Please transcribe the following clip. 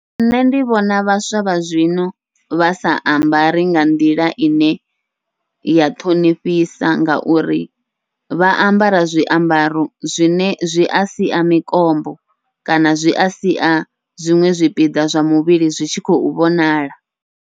Nṋe ndi vhona vhaswa vha zwino vha sa ambari nga nḓila ine ya ṱhonifhisa, ngauri vha ambara zwiambaro zwine zwi a sia mikombo kana zwi a sia zwiṅwe zwipiḓa zwa muvhili zwi tshi khou vhonala.